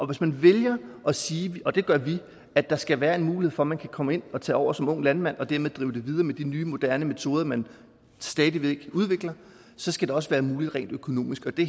hvis man vælger at sige og det gør vi at der skal være en mulighed for at man kan komme ind og tage over som ung landmand og dermed drive det videre med de nye moderne metoder man stadig væk udvikler så skal det også være muligt rent økonomisk og det